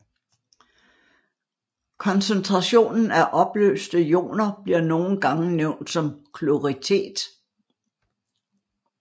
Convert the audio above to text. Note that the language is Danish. Koncentrationen af opløste ioner bliver nogle gange nævnt som kloritet